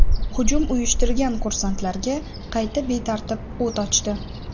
Hujum uyushtirganlar kursantlarga qarata betartib o‘t ochdi.